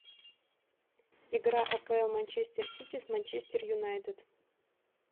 игра апл манчестер сити с манчестер юнайтед